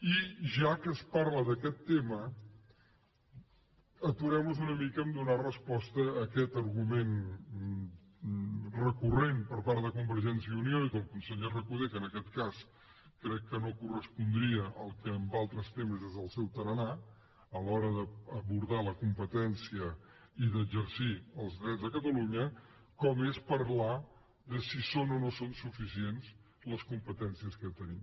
i ja que es parla d’aquest tema aturem nos una mica a donar resposta a aquest argument recurrent per part de convergència i unió i del conseller recoder que en aquest cas crec que no correspondria al que en altres temes és el seu tarannà a l’hora d’abordar la competència i d’exercir els drets de catalunya com és parlar de si són o no són suficients les competències que tenim